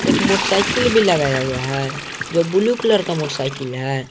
एक मोटरसाइकिल भी लगाया हुआ है जो ब्लू कलर का मोटरसाइकिल है।